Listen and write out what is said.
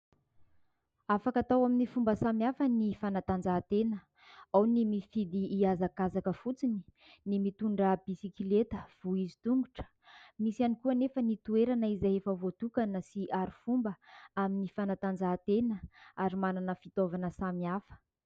Afaka atao amin'n fomba samihafa ny fanatanjahantena. Ao ny mifidy hiazakazaka fotsiny, ny mitondra bisikilety voizin-tongotra, misy ihany koa anefa ny toerana izay efa voatokana sy arifomba amin'ny fanatanjahantena ary manana fitaovana samihafa.